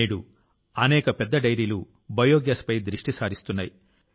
నేడు అనేక పెద్ద డెయిరీలు బయోగ్యాస్పై దృష్టి సారిస్తున్నాయి